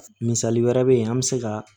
Misali wɛrɛ bɛ ye an bɛ se ka